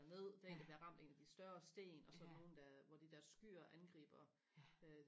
ned der er en der bliver ramt af en af de større sten og så er der nogen der hvor de der skyer angriber øh